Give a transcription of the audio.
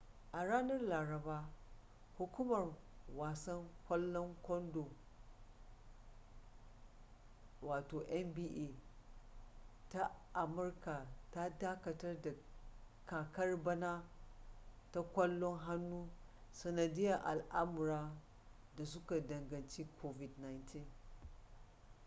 a ranar laraba hukumar wasan kwalon kondo nba ta amurka ta dakatar da kakar bana ta kwallon hannu sanadiyar al’amura da suka danganci covid-19